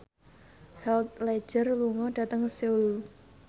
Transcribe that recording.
Heath Ledger lunga dhateng Seoul